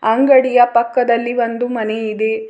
ಅಂಗಡಿಯ ಪಕ್ಕದಲ್ಲಿ ಒಂದು ಮನೆ ಇದೆ.